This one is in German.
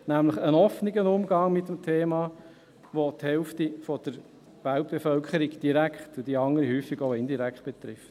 Nämlich ein offener Umgang mit einem Thema, welches die Hälfte der Weltbevölkerung direkt, und die andere häufig auch indirekt betrifft.